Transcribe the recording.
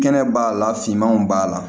Kɛnɛ b'a la finmanw b'a la